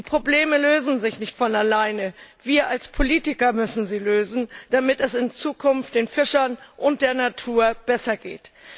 Die Probleme lösen sich nicht von alleine, wir als Politiker müssen sie lösen, damit es in Zukunft den Fischern und der Natur besser geht.